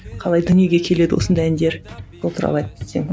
қалай дүниеге келеді осындай әндер сол туралы айтып кетсең